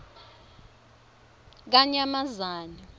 yakanyamazane